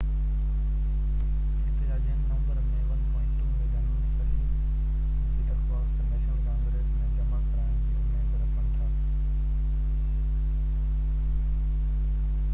احتجاجين November ۾ 1.2 million صحين جي درخواست نيشنل ڪانگريس ۾ جمع ڪرائڻ جي اميد رکن ٿا